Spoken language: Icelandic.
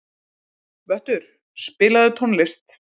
Vöttur, spilaðu tónlist.